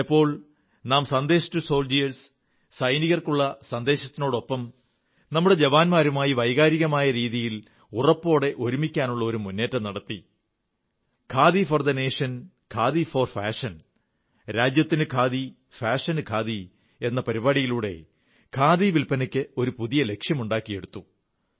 ചിലപ്പോൾ നാം Sandesh to soldiers സൈനികർക്കുള്ള സന്ദേശത്തിനൊപ്പം നമ്മുടെ ജവാന്മാരുമായി വൈകാരിമായ രീതിയിൽ ഉറപ്പോടെ ഒരുമിക്കാനുള്ള മുന്നേറ്റം നടത്തി ഖാദി ഫോർ നേഷൻഖാദി ഫോർ ഫാഷൻ രാജ്യത്തിനു ഖാദി ഫാഷനു ഖാദി എന്ന പരിപാടിയിലൂടെ ഖാദി വില്പനയ്ക്ക് ഒരു പുതിയ ലക്ഷ്യം ഉണ്ടാക്കിക്കൊടുത്തു